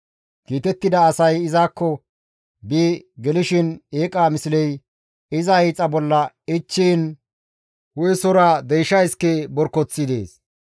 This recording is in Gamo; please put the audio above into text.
Kiitettida asay izakko bi gelishin eeqa misley iza hiixa bolla ichchiin hu7esora deysha iske borkoththi dees.